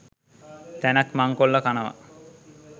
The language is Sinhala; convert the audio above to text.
තැනක් මංකොල්ල කනව